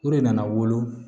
O de nana wolo